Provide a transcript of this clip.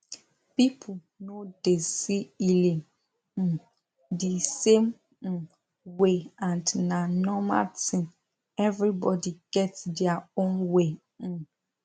people no dey see healing um the same um way and na normal thin everybody get their own way um